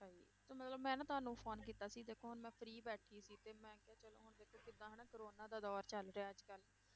ਤੇ ਮਤਲਬ ਮੈਂ ਨਾ ਤੁਹਾਨੂੰ phone ਕੀਤਾ ਸੀ ਦੇਖੋ ਹੁਣ ਮੈਂ free ਬੈਠੀ ਸੀ ਤੇ ਮੈਂ ਕਿਹਾ ਚਲੋ ਹੁਣ ਦੇਖੋ ਜਿੱਦਾਂ ਹਨਾ ਕੋਰੋਨਾ ਦਾ ਦੌਰ ਚੱਲ ਰਿਹਾ ਹੈ ਅੱਜ ਕੱਲ੍ਹ